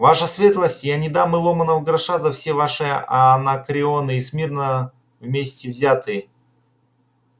ваша светлость я не дам и ломаного гроша за все ваши анакреоны и смирно вместе взятые